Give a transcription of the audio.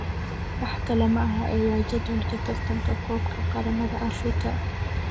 Wax kale maaha ee waa jadwalka tartanka koobka qaramada Afrika.